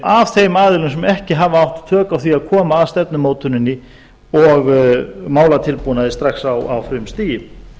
af þeim aðilum sem ekki hafa átt tök á því að koma að stefnumótuninni og málatilbúnaði strax á frumstigi